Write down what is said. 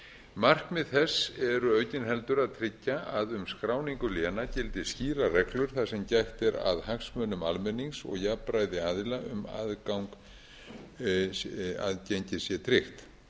markmið þess er aukin heldur að tryggja að um skráningu léna gildi skýrar reglur þar sem gætt er að hagsmunum almennings og jafnræði aðila um að aðgengi sé tryggt